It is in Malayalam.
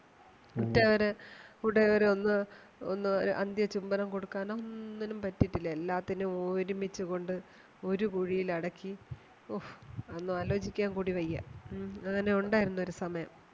ഉറ്റവര് ഉടയവരൊന്നും ഒന്നും അന്ത്യ ചുംബനം കൊടുക്കാനും ഒന്നും പറ്റീട്ടില്ല എല്ലാത്തിനെയും ഒരുമിച്ചു കൊണ്ട് ഒരു കുഴിയില് അടക്കി ഓ അതൊന്നും ആലോചിക്കാൻ കൂടി വയ്യ മ് അങ്ങനെ ഉണ്ടായിരുന്നു ഒരു സമയം